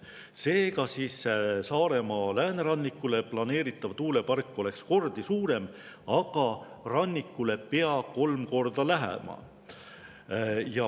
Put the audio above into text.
Seega, Saaremaa läänerannikule planeeritav tuulepark oleks kordi suurem ja rannikule pea kolm korda lähemal.